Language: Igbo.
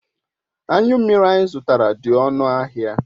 Anyu mmiri anyi zutara di onu ahia